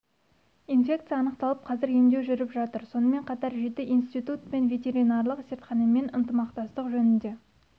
инфекция анықталып қазір емдеу жүріп жатыр сонымен қатар жеті институт пен ветеринарлық зертханамен ынтымақтастық жөнінде